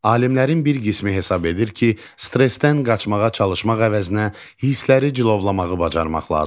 Alimlərin bir qismi hesab edir ki, stressdən qaçmağa çalışmaq əvəzinə hissləri cilovlamağı bacarmaq lazımdır.